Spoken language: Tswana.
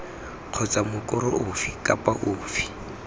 kgotsa mokoro ofe kapa ofe